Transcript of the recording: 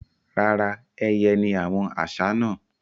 Rárá, ẹyẹ ni àwọn àṣá náà.